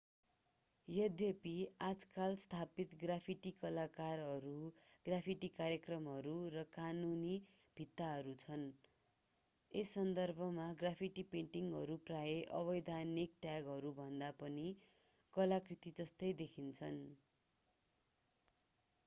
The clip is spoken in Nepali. यद्यपि आजकल स्थापित ग्राफिटि कलाकारहरू ग्राफिटि कार्यक्रमहरू र कानूनी भित्ताहरू छन् यस सन्दर्भमा ग्राफिटि पेन्टिङहरू प्राय अवैधानिक ट्यागहरूभन्दा पनि कलाकृति जस्तै देखिन्छन्